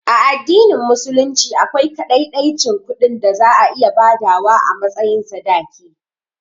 A addinin musulunci akwai kaɗaiɗaicin kuɗin da za a iya badawa a matsayin sadaki